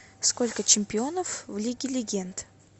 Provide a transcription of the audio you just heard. сколько чемпионов в лиге легенд